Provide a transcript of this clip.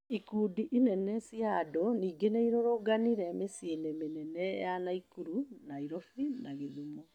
Ikundi inene cia andũ ningĩ nĩirũrũnganire miciĩini mĩnene ya Naikuru, Nairobi na Gĩthumo.